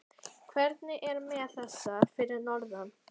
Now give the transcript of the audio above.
Hvernig er með þessa fyrir norðan?